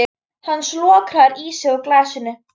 Hann slokrar í sig úr glasinu.